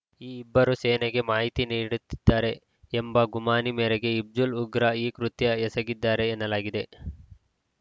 ಈ ಇಬ್ಬರೂ ಸೇನೆಗೆ ಮಾಹಿತಿ ನೀಡುತ್ತಿದ್ದಾರೆ ಎಂಬ ಗುಮಾನಿ ಮೇರೆಗೆ ಹಿಜ್ಬುಲ್‌ ಉಗ್ರರು ಈ ಕೃತ್ಯ ಎಸಗಿದ್ದಾರೆ ಎನ್ನಲಾಗಿದೆ